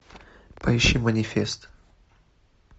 поищи манифест